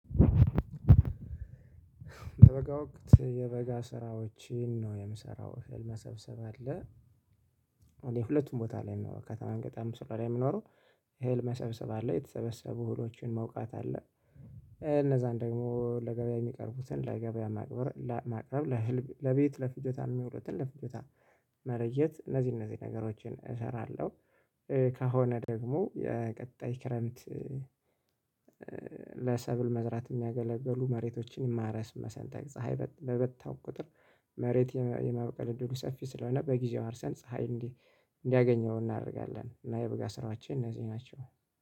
የበጋ ወቅት የበጋ ስራዎችን ነው የምሰራው እህል መሰብሰብ አለ። የሁለቱም ቦታ ላይ ነው ከተማን ገጠርም ስለሆነ የሚኖረው የህልም መሰብሰብ አለ የተሰበሰቡ ህሎችን መውቃት አለ። እነዛን ደግሞ ለገበያ የሚቀርቡትን ለገበያ ማቅረብ ለማቅረብ ለህልብ ለቤት ለፍጆታ የሚውሉትን ለፍጆታ መለየት እነዚህ እነዚህ ነገሮችን እሰራለሁ። ከሆነ ደግሞ የቀጣይ ክረምት። ለሰብል መዝራት የሚያገለግሉ መሬቶችን የማረስ መሰንጠቅ ፀሀይ በመታው ቁጥር መሬት የማብቀል እድሉ ሰፊ ስለሆነ በጊዜው አርሰን ፀሀይ እንዲህ እንዲያገኘው እናደርጋለን። እና የበጋ ስራችን እነዚህ ናቸው